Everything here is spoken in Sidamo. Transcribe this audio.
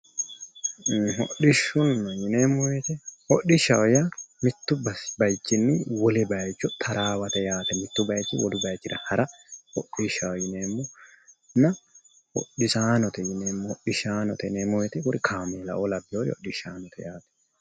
Hodhishshu yineemmo woyiite hodhishshaho yaa mittu baayiichinni wole baayiicho taraawate yaate, mittu baayiichinni wolu baayiichira hara hodhishshaho yineemmonna hodhisaanote yineemmo wooyiite kuri kaameelaoo laweoori hidhishshaanote yaate.